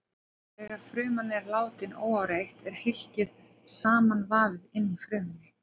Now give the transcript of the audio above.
Þegar fruman er látin óáreitt er hylkið samanvafið inni í frumunni.